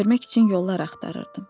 Görmək üçün yollar axtarırdım.